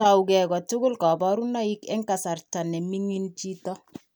Tougei kotogu kaborunoik eng' kasarta neming'in chito